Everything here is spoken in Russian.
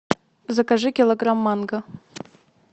закажи килограмм манго